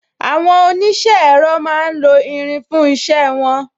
Àwọn onise ẹ̀rọ máa ń lo irin fún isẹ won